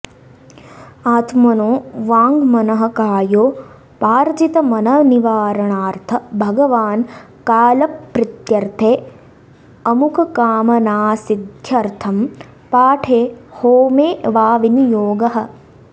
आत्मनों वाङ्मनःकायोपार्जितमननिवारणार्थ भगवान् कालप्रीत्यर्थे अमुककामनासिद्धयर्थं पाठे होमे वा विनियोगः